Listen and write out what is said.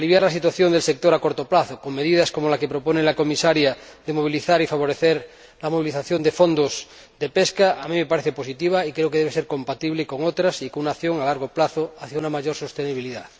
Aliviar la situación del sector a corto plazo, con medidas como la que propone la Comisaria de movilizar y favorecer la movilización de fondos de pesca, a mí me parece positivo y creo que debe ser compatible con otras medidas y con una acción a largo plazo hacia una mayor sostenibilidad.